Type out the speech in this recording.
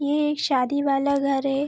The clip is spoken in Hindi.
यह एक शादी वाला घर है।